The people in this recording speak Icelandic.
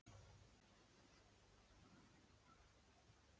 Kristján Már Unnarsson: Af hverju?